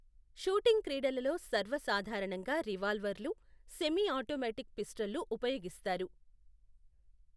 Shooting క్రీడలలో సర్వసాధారణంగా రివాల్వర్లు, సెమీ ఆటోమేటిక్ పిస్టళ్లు ఉపయోగిస్తారు.